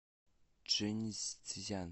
чжэньцзян